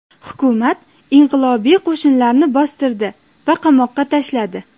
Hukumat inqilobiy qo‘shinlarni bostirdi va qamoqqa tashladi.